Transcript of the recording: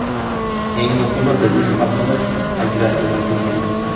Eng muhimi, bizning xalqimiz ajratilmasligi.